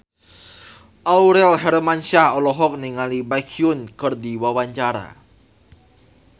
Aurel Hermansyah olohok ningali Baekhyun keur diwawancara